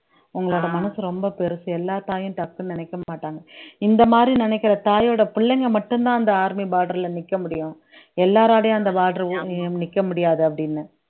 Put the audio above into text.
உங்களோட மனசு ரொம்ப பெருசு எல்லாத்தாயும் டக்குனு நினைக்க மாட்டாங்க இந்த மாதிரி நினைக்கிற தாயோட பிள்ளைங்க மட்டும்தான் அந்த army border ல நிற்க முடியும் எல்லாராலையும் அந்த border நிக்க முடியாது அப்படின்னு